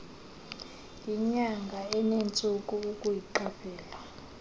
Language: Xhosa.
yinyanga enentsuku ukuyiqaphela